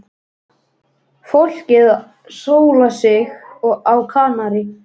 Fólkið að sóla sig á Kanarí.